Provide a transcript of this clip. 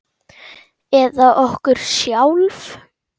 Eða okkur sjálf?